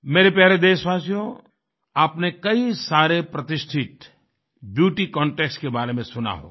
मेरे प्यारे देशवासियोंआपने कई सारे प्रतिष्ठित ब्यूटी कंटेस्ट के बारे में सुना होगा